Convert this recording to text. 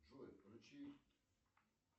джой включи